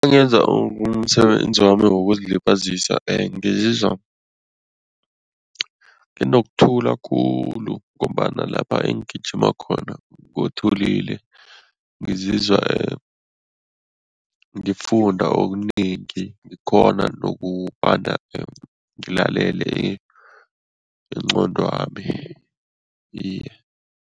Nangenza umsebenzi wami wokuzilibazisa ngizizwa nginokuthula khulu ngombana lapha engijimi khona kuthulile, ngizizwa ngifunda okunengi, ngikghona nokobana ngilalele ingqondwami, iye.